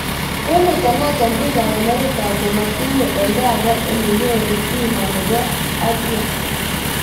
Kometo noto biik ab amerika komotiche olda age ole nyoru bima nebo abya